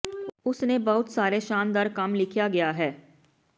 ਉਸ ਨੇ ਬਹੁਤ ਸਾਰੇ ਸ਼ਾਨਦਾਰ ਕੰਮ ਲਿਖਿਆ ਗਿਆ ਹੈ